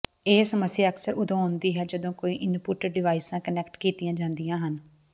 ਇਹ ਸਮੱਸਿਆ ਅਕਸਰ ਉਦੋਂ ਆਉਂਦੀ ਹੈ ਜਦੋਂ ਕਈ ਇਨਪੁਟ ਡਿਵਾਈਸਾਂ ਕਨੈਕਟ ਕੀਤੀਆਂ ਜਾਂਦੀਆਂ ਹਨ